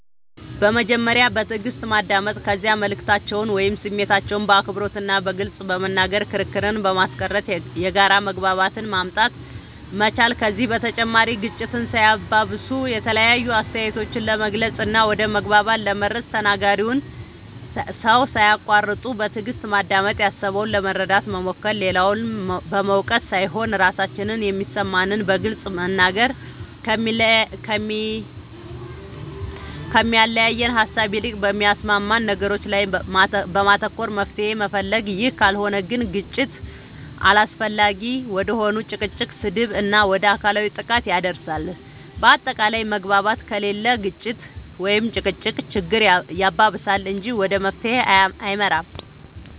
በመጀመሪያ በትእግስት ማዳመጥ ከዚያ መልእክታችንን ወይም ስሜታችንን በአክብሮት እና በግልፅ በመናገር ክርክርን በማስቀረት የጋራ መግባባትን ማምጣት መቻል ከዚህ በተጨማሪ ግጭትን ሳያባብሱ የተለያዩ አስተያየቶችን ለመግለፅ እና ወደ መግባባት ለመድረስ ተናጋሪውን ሰው ሳያቁዋርጡ በትእግስት ማዳመጥ ያሰበውን ለመረዳት መሞከር, ሌላውን በመውቀስ ሳይሆን ራሳችን የሚሰማንን በግልፅ መናገር, ከሚያለያየን ሃሳብ ይልቅ በሚያስማሙን ነገሮች ላይ በማተኮር መፍትሄ መፈለግ ይህ ካልሆነ ግን ግጭት አላስፈላጊ ወደ ሆነ ጭቅጭቅ, ስድብ እና ወደ አካላዊ ጥቃት ያደርሳል በአታቃላይ መግባባት ከሌለ ግጭት(ጭቅጭቅ)ችግር ያባብሳል እንጂ ወደ መፍትሄ አይመራም